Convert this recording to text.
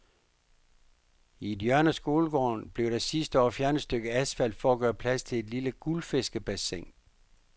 I et hjørne af skolegården blev der sidste år fjernet et stykke asfalt for at gøre plads til et lille guldfiskebassin.